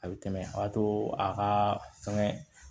A bɛ tɛmɛ a to a ka fɛngɛ